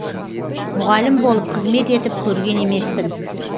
мұғалім болып қызмет етіп көрген емеспін